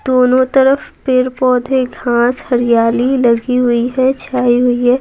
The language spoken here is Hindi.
दोनों तरफ पेड़ पौधे घास हरियाली लगी हुई है छाई हुई है।